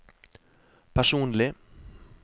personlig